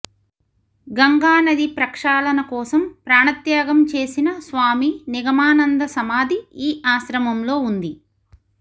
గంగానది ప్రక్షాళన కోసం ప్రాణత్యాగం చేసిన స్వామి నిగమానంద సమాధి ఈ ఆశ్రమంలో ఉంది